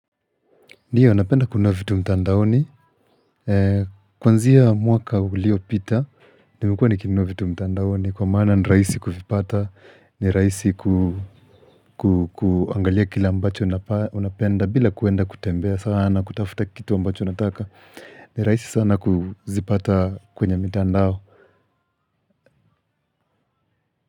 Ndio, napenda kununua vitu mtandaoni. Kuanzia mwaka uliopita, nimekua nikinua vitu mtandaoni. Kwa maana nirahisi kuvipata, nirahisi kuangalia kile ambacho unapenda, bila kuenda kutembea sana, kutafuta kitu ambacho nataka. Ni rahisi sana kuzipata kwenye mtandao.